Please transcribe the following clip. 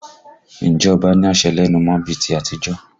Ǹjẹ́ ọba ní àṣẹ lẹ́nu mọ́ bí i ti àtijọ́?